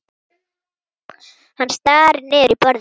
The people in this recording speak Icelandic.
Hann starir niður í borðið.